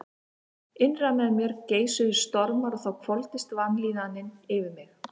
Innra með mér geisuðu stormar og þá hvolfdist vanlíðanin yfir mig.